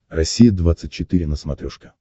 россия двадцать четыре на смотрешке